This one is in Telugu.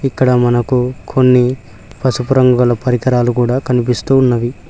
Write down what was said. ఇక్కడ మనకు కొన్ని పసుపు రంగుగల పరికరాలు కూడా కనిపిస్తూ ఉన్నవి.